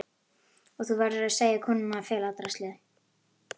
Og þú verður að segja konunni að fela draslið.